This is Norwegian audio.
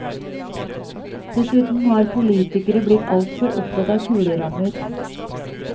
Dessuten har politikere blitt altfor opptatt av kulerammer.